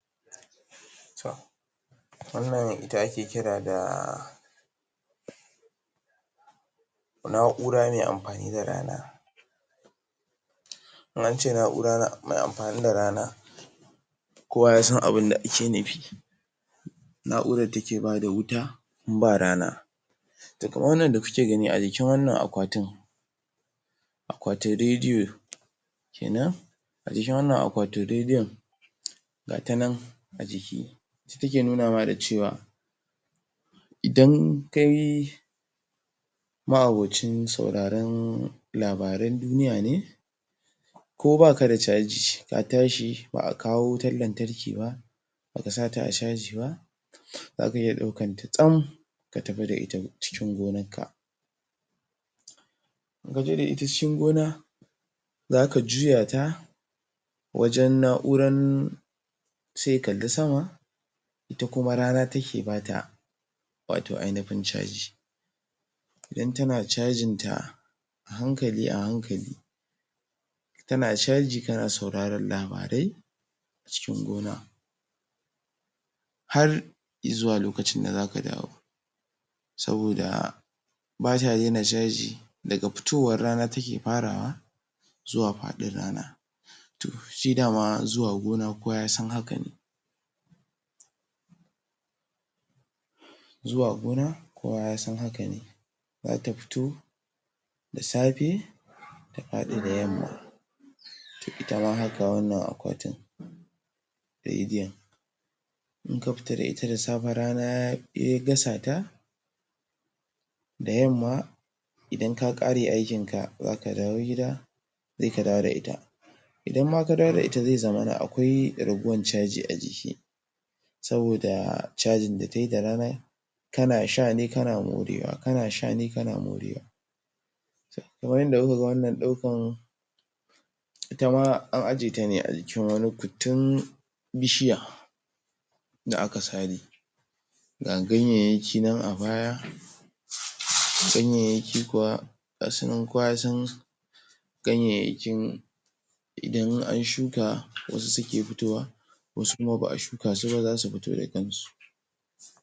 To, wannan ita ake kira da na'ura me amfani da rana. In ance na'ura me amfani da rana, kowa ya san abinda ake nufi, na'urar da take bata wuta in ba rana. To, kamar wannan da kuke gani a jikin wanna akwatin, akwatin rediyo kenan, a jikin wannan akwatin rediyon, gata nan, a jiki, ita take nuna ma da cewa, idan kai ma'aboci sauraran labaran duniya ne, ko baka da caji, ka tashi ba'a kawo wutan lantarki ba, baka sa ta a caji ba, zaka iya ɗaukan ta tsam ka tafi da ita cikin gonan ka. In kaje da ita cikin gona, zaka juya ta wajen na'uran, sai ya kalli sama, ita kuma rana take bata wato ainufin caji. Idan tana cajin ta, ahankali-ahankali, tana caji kana sauraran labarai cikin gona, har i'zuwa lokacin da zaka dawo. Saboda bata daina caji, daga fitowan rana take farawa, zuwa faɗin rana. To, shi dama zuwa gona, kowa ya san haka ne. Zuwa gona, kowa ya san haka ne, zata fito da safe, ta faɗi da yamma. To, ita ma haka wannan akwatin rediyon. In ka fita da ita da safe, rana ya gasa ta, da yamma idan ka ƙare aikin ka zaka dawo gida, sai ka dawo da ita. Idan ma ka dawo da ita, zai zamana akwai raguwan caji a ciki, saboda cajin da kayi da rana, kana sha ne kana morewa, kana sha ne kana morewa. Kamar yanda kuka ga wannan ɗaukan, ita ma an aje ta ne, a jikin wani kuttun bishiya da aka sare. ga ganyayyaki nan a baya, ganyayyaki kuwa gasu nan kowa ya san ganyayyakin, idan an shuka wasu suke fitowa, wasu kuma ba a shuka su ba zasu fito da kan su.